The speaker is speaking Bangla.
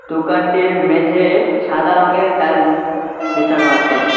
দোকানটির মেঝে-এ সাদা রঙের টাইলস বিছানো আছে।